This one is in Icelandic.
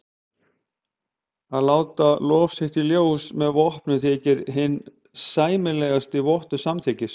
Að láta lof sitt í ljós með vopnum þykir hinn sæmilegasti vottur samþykkis.